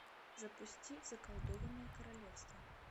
запусти заколдованное королевство